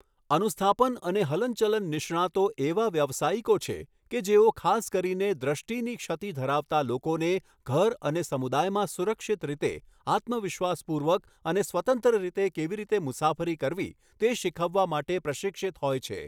અનુસ્થાપન અને હલનચલન નિષ્ણાતો એવા વ્યાવસાયિકો છે કે જેઓ ખાસ કરીને દૃષ્ટિની ક્ષતિ ધરાવતા લોકોને ઘર અને સમુદાયમાં સુરક્ષિત રીતે, આત્મવિશ્વાસપૂર્વક અને સ્વતંત્ર રીતે કેવી રીતે મુસાફરી કરવી તે શીખવવા માટે પ્રશિક્ષિત હોય છે.